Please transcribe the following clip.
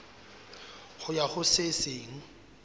ho ya ho se seng